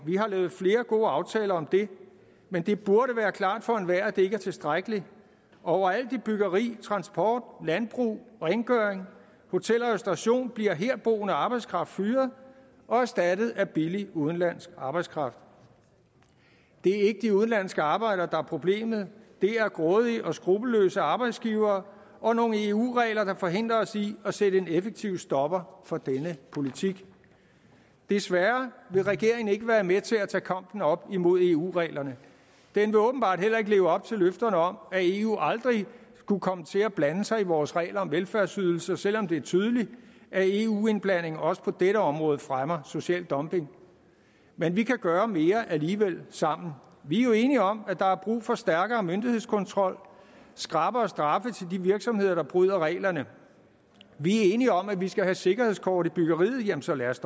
vi har lavet flere gode aftaler om det men det burde være klart for enhver at det ikke er tilstrækkeligt overalt i byggeri transport landbrug rengøring hotel og restauration bliver herboende arbejdskraft fyret og erstattet af billig udenlandsk arbejdskraft det er ikke de udenlandske arbejdere der er problemet det er grådige og skruppelløse arbejdsgivere og nogle eu regler der forhindrer os i at sætte en effektiv stopper for denne politik desværre vil regeringen ikke være med til at tage kampen op imod eu reglerne den vil åbenbart heller ikke leve op til løfterne om at eu aldrig skulle komme til at blande sig i vores regler om velfærdsydelser selv om det er tydeligt at eu indblanding også på dette område fremmer social dumping men vi kan gøre mere alligevel sammen vi er jo enige om at der er brug for stærkere myndighedskontrol skrappere straffe til de virksomheder der bryder reglerne vi er enige om at vi skal have sikkerhedskort i byggeriet jamen så lad os